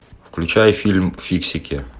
включай фильм фиксики